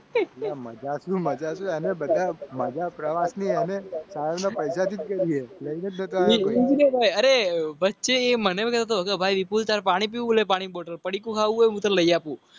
મજાક મજાક અને બતાવો. મજા પ્રવાસી અને સારા પંજાબ. અરે વચ્ચેમન્ન.